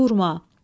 Murad.